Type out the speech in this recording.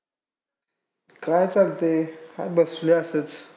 काय चालतंय. हाय बसलोय असंच!